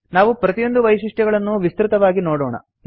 ನಾವು ಪ್ರತಿಯೊಂದು ವೈಶಿಷ್ಟ್ಯಗಳನ್ನೂ ವಿಸ್ತೃತವಾಗಿ ನೋಡೋಣ